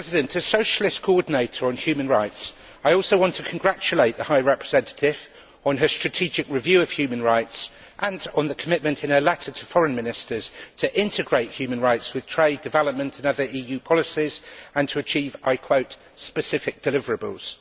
As Socialist coordinator on human rights, I also want to congratulate the High Representative on her strategic review of human rights and on the commitment in her letter to foreign ministers to integrate human rights with trade development and other EU policies and to achieve specific deliverables'.